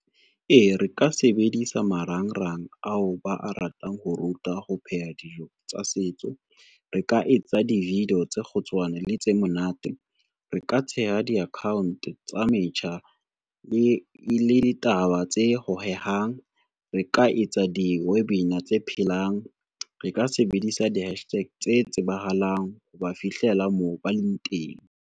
E, re ka sebedisa marangrang ao ba a ratang ho ruta ho pheha dijo tsa setso. Re ka etsa di-video tse kgutshwane le tse monate, re ka theha di-account tsa metjha le ditaba tse hohehang, re ka etsa di-webinar tse phelang, re ka sebedisa di-hashtag tse tsebahalang ho ba fihlela moo ba leng teng.